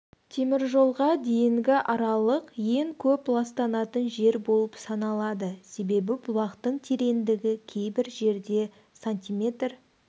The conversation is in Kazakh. теміржолға дейінгі аралық ең көп ластанатын жер болып саналады себебі бұлақтың тереңдігі кейбір жерде см